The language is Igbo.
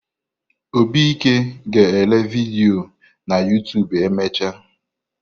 Obike ga ele vidiyo na Yoụtụbụ emecha.